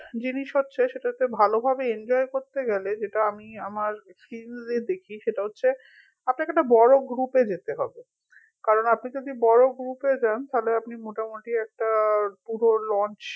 জিনিস হচ্ছে সেটা হচ্ছে ভালোভাবে enjoy করতে গেলে যেটা আমি আমার experience এ দেখি সেটা হচ্ছে আপনাকে একটা বড় group এ যেতে হবে কারন আপনি যদি বড় group যান তাহলে আপনি মোটামুটি একটা পুরো launch